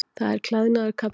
Það er klæðnaður karlmanna.